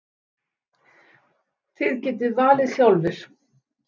Þið getið valið sjálfir.